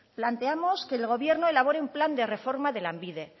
planteamos que el gobierno elabore un plan de reforma de lanbide